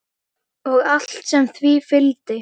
Og allt sem því fylgdi.